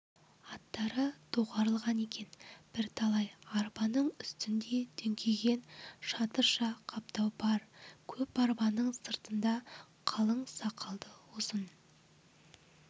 аттары доғарылған екен бірталай арбаның үстінде дүңкиген шатырша қаптау бар көп арбаның сыртында қалың сақалды ұзын